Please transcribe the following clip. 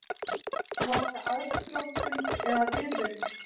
Var það aðdróttun eða viðvörun?